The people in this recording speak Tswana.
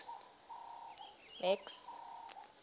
max